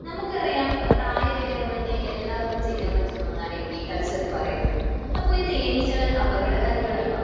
നമുക്കറിയാം പ്രായഭേദമെന്യേ എല്ലാവർക്കും ചെയ്യാൻ പറ്റുന്ന ഒന്നാണ് എപികൾച്ചർ എന്നു പറയുന്നത്. അപ്പോൾ ഈ തേനീച്ചകൾ അപകടകാരികളാണോ?